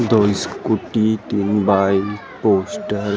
दो स्कूटी तीन bike poster --